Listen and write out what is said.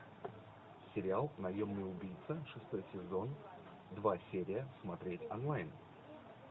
сериал наемный убийца шестой сезон два серия смотреть онлайн